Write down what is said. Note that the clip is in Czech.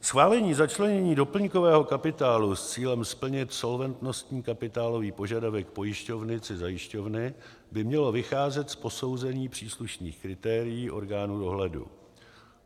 Schválení začlenění doplňkového kapitálu s cílem splnit solventnostní kapitálový požadavek pojišťovny či zajišťovny by mělo vycházet z posouzení příslušných kritérií orgánů dohledu.